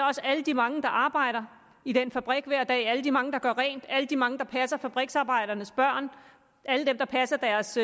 også alle de mange der arbejder i den fabrik hver dag alle de mange der gør rent alle de mange der passer fabriksarbejdernes børn alle dem der passer deres